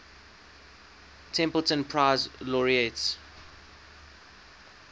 templeton prize laureates